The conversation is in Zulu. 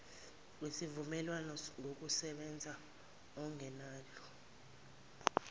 kwesivumelwano ngokokusebenza okungenalo